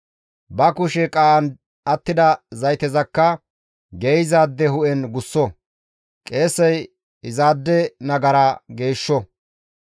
Ba kushe qaa7an attida zaytezakka geeyzaade hu7en gusso; qeesey izaade nagara geeshsho.